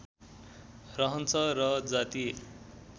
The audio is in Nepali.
रहन्छ र जातीय